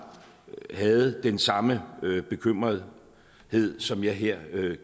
havde den samme bekymrethed som jeg her